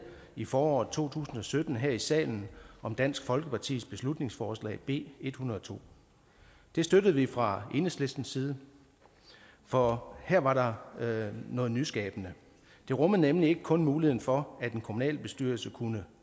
i foråret to tusind og sytten her i salen om dansk folkepartis beslutningsforslag b en hundrede og to det støttede vi fra enhedslistens side for her var der noget nyskabende det rummede nemlig ikke kun muligheden for at en kommunalbestyrelse kunne